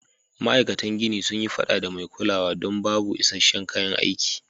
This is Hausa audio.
Ma aikatan gini sun yi fada da mai kulawa don babu isa'shen kayan aiki.